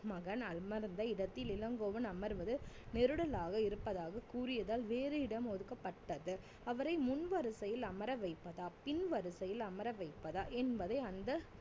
மகன் அமர்ந்த இடத்தில் இளங்கோவன் அமர்வது நெருடலாக இருப்பதாக கூறியதால் வேறு இடம் ஒதுக்கப்பட்டது அவரை முன் வரிசையில் அமர வைப்பதா பின் வரிசையில் அமர வைப்பதா என்பதை அந்த